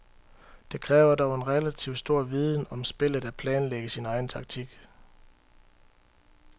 Det kræver dog en relativ stor viden om spillet at planlægge sin egen taktik.